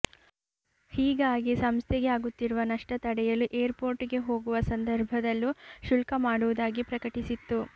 ಹೀಗಾಗಿ ಸಂಸ್ಥೆಗೆ ಆಗುತ್ತಿರುವ ನಷ್ಟ ತಡೆಯಲು ಏರ್ ಪೋರ್ಟ್ ಗೆ ಹೋಗುವ ಸಂದರ್ಭದಲ್ಲೂ ಶುಲ್ಕ ಮಾಡುವುದಾಗಿ ಪ್ರಕಟಿಸಿತ್ತು